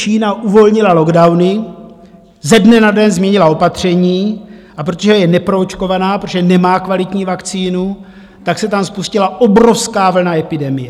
Čína uvolnila lockdowny, ze dne na den změnila opatření, a protože je neproočkovaná, protože nemá kvalitní vakcínu, tak se tam spustila obrovská vlna epidemie.